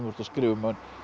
ert að skrifa um